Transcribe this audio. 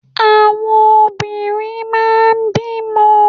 Àwọn obìnrin máa n bímọ